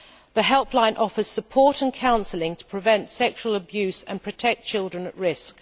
The helpline offers support and counselling to prevent sexual abuse and protect children at risk.